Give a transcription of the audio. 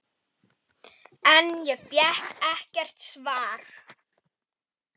En fékk ekkert svar.